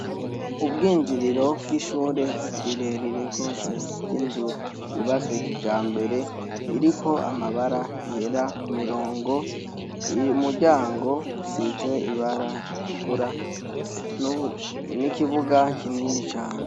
Ubwinjiriro bw'ishure rire rire gose ry'inzu yubayswe kijambere iriko amabara yera ku mirongo imuryango usize ibara ritukura n'ikibuga kinini cane.